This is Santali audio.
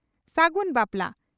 ᱥᱟᱜᱩᱱ ᱵᱟᱯᱞᱟ